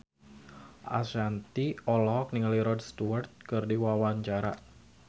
Ashanti olohok ningali Rod Stewart keur diwawancara